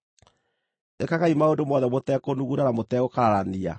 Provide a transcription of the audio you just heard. Ĩkagai maũndũ mothe mũtekũnuguna na mũtegũkararania,